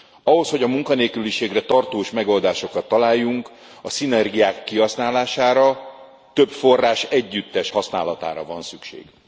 Ahhoz, hogy a munkanélküliségre tartós megoldásokat találjunk, a szinergiák kihasználására, több forrás együttes használatára van szükség.